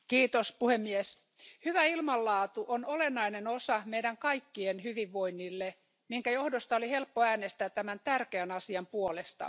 Arvoisa puhemies, hyvä ilmanlaatu on olennainen asia meidän kaikkien hyvinvoinnille, minkä johdosta oli helppo äänestää tämän tärkeän asian puolesta.